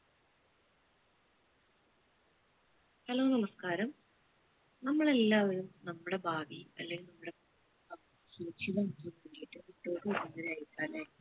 hello നമസ്ക്കാരം നമ്മൾ എല്ലാവരും നമ്മുടെ ഭാവി അല്ലെ അല്ലെ